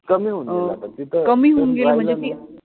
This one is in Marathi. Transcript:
कमी होउन गेल पण तिथं म्हणजे ते